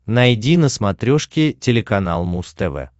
найди на смотрешке телеканал муз тв